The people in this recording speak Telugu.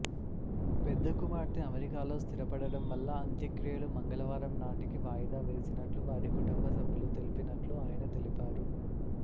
పెద్ద కుమార్తె అమెరికాలో స్థిరపడడంవల్ల అంత్యక్రియలు మంగళవారం నాటికి వాయిదా వేసినట్లు వారి కుటుంబ సభ్యులు తెలిపినట్లు ఆయన తెలిపారు